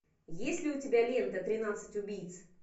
есть ли у тебя лента тринадцать убийц